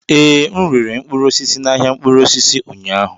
Ee, m rere mkpụrụ osisi na ahịa mkpụrụ osisi ụnyaahụ.